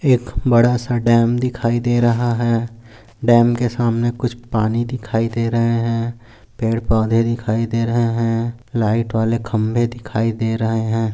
एक बड़ा सा डॅम दिखाई दे रहा है डॅम के सामने कुछ पाणी दिखाई दे रहे है पेड़ पौधे दिखाई दे रहे है लाइट वाले खंबे दिखाई दे रहे है।